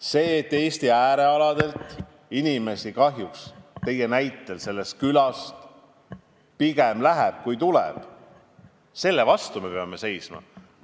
Sellele, et Eesti äärealadel on nii, nagu kahjuks ka teie näites, et sellest külast inimesi pigem läheb, kui sinna tuleb, me peame vastu seisma.